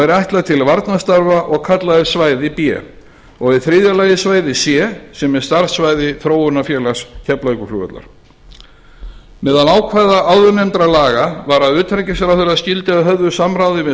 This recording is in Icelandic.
er ætlað til varnarstarfa og kallað er svæði b og í þriðja lagi svæði c sem er starfssvæði þróunarfélags keflavíkurflugvallar meðal ákvæða áðurnefndra laga var að utanríkisráðherra skyldi að höfðu samráði við